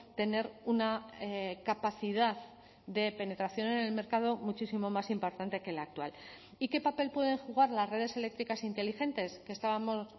tener una capacidad de penetración en el mercado muchísimo más importante que la actual y qué papel pueden jugar las redes eléctricas inteligentes que estábamos